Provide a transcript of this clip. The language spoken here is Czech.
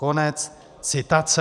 Konec citace.